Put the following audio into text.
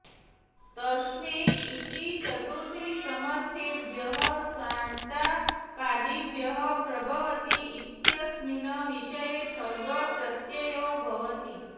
तस्मै इति चतुर्थीसमर्थेभ्यः सन्तापादिभ्यः प्रभवति इत्यस्मिन् विषये ठञ् प्रत्ययो भवति